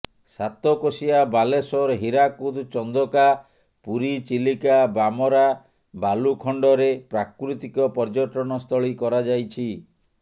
ସାତକୋଶିଆ ବାଲେଶ୍ୱର ହୀରାକୁଦ ଚନ୍ଦକା ପୁରୀ ଚିଲିକା ବାମରା ବାଲୁଖଣ୍ଡରେ ପ୍ରାକୃତିକ ପର୍ଯ୍ୟଟନସ୍ଥଳୀ କରାଯାଇଛି